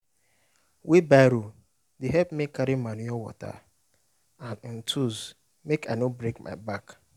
wheelbarrow dey help me carry manure water and um tools mk i no break my back